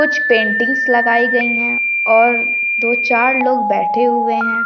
कुछ पेंटिंग्स लगाई गई है और दो-चार लोग बेठे हुए है।